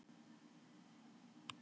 til voru margs konar skylmingaþrælar